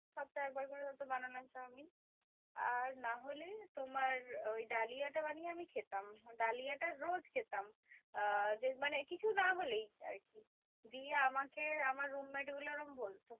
সপ্তাহে একবার করে হয়তো বানালাম চাউমিন। আর নাহলে তোমার ওই ডালিয়াটা বানিয়ে আমি খেতাম। ডালিয়াটা রোজ খেতাম। আহ মানে কিছু না হলেই আরকি। দিয়ে আমাকে আমার roommate গুলো ওরম বলতো